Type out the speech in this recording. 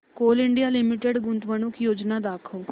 Coal India Limited गुंतवणूक योजना दाखव